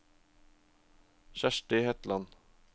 Kjersti Hetland